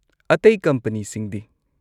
ꯑꯇꯩ ꯀꯝꯄꯅꯤꯁꯤꯡꯗꯤ ?